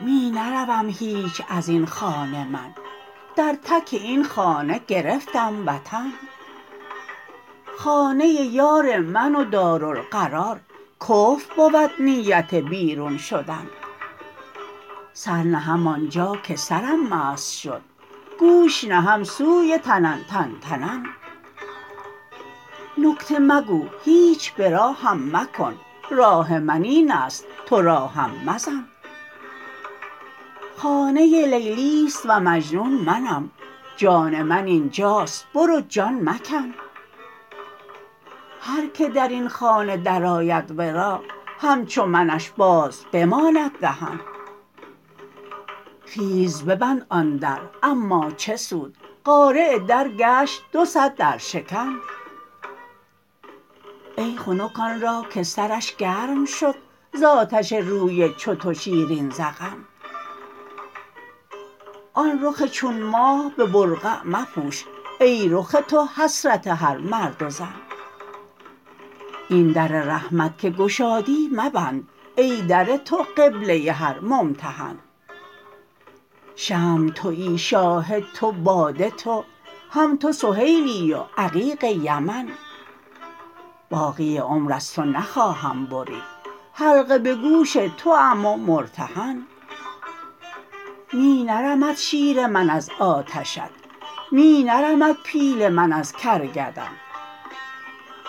می نروم هیچ از این خانه من در تک این خانه گرفتم وطن خانه یار من و دارالقرار کفر بود نیت بیرون شدن سر نهم آن جا که سرم مست شد گوش نهم سوی تنن تنتنن نکته مگو هیچ به راهم مکن راه من این است تو راهم مزن خانه لیلی است و مجنون منم جان من این جاست برو جان مکن هر کی در این خانه درآید ورا همچو منش باز بماند دهن خیز ببند آن در اما چه سود قارع در گشت دو صد درشکن ای خنک آن را که سرش گرم شد ز آتش روی چو تو شیرین ذقن آن رخ چون ماه به برقع مپوش ای رخ تو حسرت هر مرد و زن این در رحمت که گشادی مبند ای در تو قبله هر ممتحن شمع توی شاهد تو باده تو هم تو سهیلی و عقیق یمن باقی عمر از تو نخواهم برید حلقه به گوش توام و مرتهن می نرمد شیر من از آتشت می نرمد پیل من از کرگدن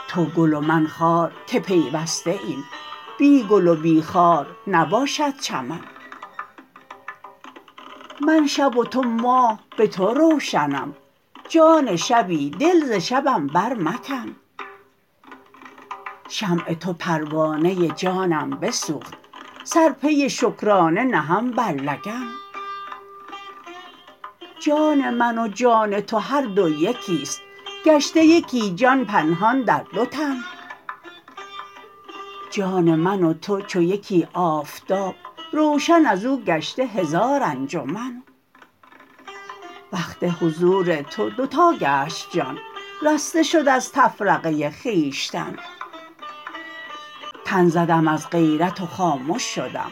تو گل و من خار که پیوسته ایم بی گل و بی خار نباشد چمن من شب و تو ماه به تو روشنم جان شبی دل ز شبم برمکن شمع تو پروانه جانم بسوخت سر پی شکرانه نهم بر لگن جان من و جان تو هر دو یکی است گشته یکی جان پنهان در دو تن جان من و تو چو یکی آفتاب روشن از او گشته هزار انجمن وقت حضور تو دو تا گشت جان رسته شد از تفرقه خویشتن تن زدم از غیرت و خامش شدم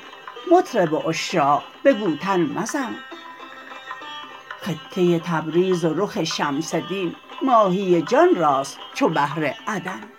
مطرب عشاق بگو تن مزن خطه تبریز و رخ شمس دین ماهی جان راست چو بحر عدن